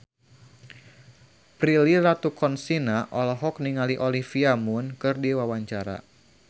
Prilly Latuconsina olohok ningali Olivia Munn keur diwawancara